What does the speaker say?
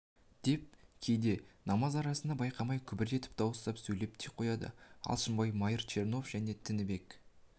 деп кейде намаз арасында байқамай күбір етіп дауыстап сөйлеп те қояды алшынбай майыр чернов және тінібек